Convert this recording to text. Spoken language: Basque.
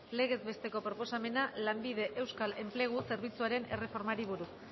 legez besteko proposamena lanbie euskal enplegu zerbitzuaren erreformari buruz